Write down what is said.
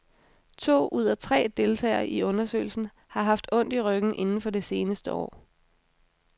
To ud af tre deltagere i undersøgelsen har haft ondt i ryggen inden for det seneste år.